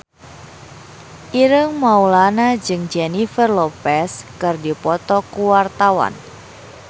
Ireng Maulana jeung Jennifer Lopez keur dipoto ku wartawan